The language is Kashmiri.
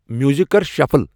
میوزک کر شفل ۔